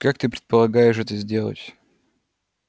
как ты предполагаешь это сделать